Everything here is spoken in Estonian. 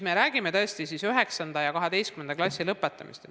Meie räägime aga 9. ja 12. klassi lõpetamisest.